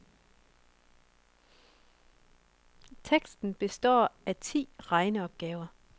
Testen består af ti regneopgaver.